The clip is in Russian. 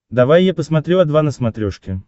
давай я посмотрю о два на смотрешке